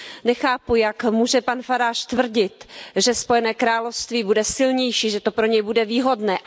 Nechápu, jak může pan Farage tvrdit, že Spojené království bude silnější, že to pro něj bude výhodné.